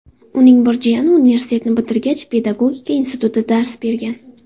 Uning bir jiyani universitetni bitirgach, Pedagogika institutida dars bergan.